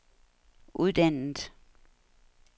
uddannet